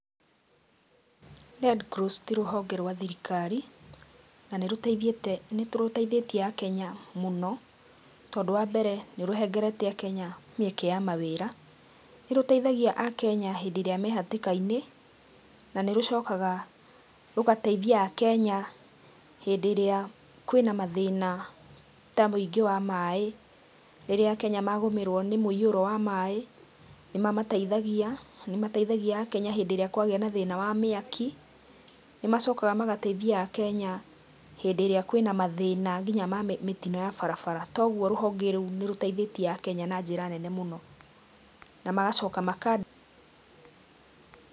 Red Cross ti rũhonge rwa thirikari, na nĩ rũteithĩtie Akenya mũno tondũ wa mbere nĩ rũhengerete Akenya mĩeke ya mawĩra. Nĩ rũteithagia Akenya hĩndĩ ĩrĩa me hatĩkainĩ na nĩ rũcokaga rũgateithia Akenya hĩndĩ ĩrĩa kwĩna mathĩna ta wĩingĩ wa maĩ, rĩrĩa Akenya magũmĩrwo nĩ mũiyũro wa maĩ nĩmamateithagia, nĩmateithagia Akenya hĩndĩ ĩrĩa kwagĩa na thĩna wa mĩaki. Nĩ macokaga magateithia Akenya hĩndĩ ĩrĩa kwĩna mathĩna nginya ma mĩtino ya barabara toguo rũhonge rũu nĩ rũteithĩtie Akenya na njĩra nene mũno na magacoka maka.